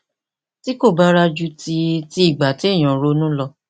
tí kò bára ju ti ti ìgbà téèyàn ń ronú lọ